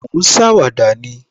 Mo ń ṣàwàdà ni